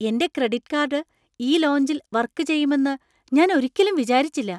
എന്‍റെ credit card ഈ ലോഞ്ചിൽ വർക്ക് ചെയ്യുമെന്ന് ഞാൻ ഒരിക്കലും വിചാരിച്ചില്ല !